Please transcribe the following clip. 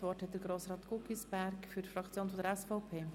Das Wort hat Grossrat Guggisberg für die Fraktion der SVP.